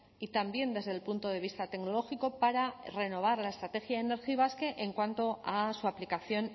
y también desde el punto de vista tecnológico para renovar la estrategia energibasque en cuanto a su aplicación